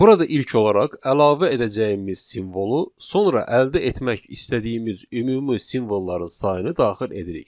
Burada ilk olaraq əlavə edəcəyimiz simvolu, sonra əldə etmək istədiyimiz ümumi simvolların sayını daxil edirik.